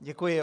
Děkuji.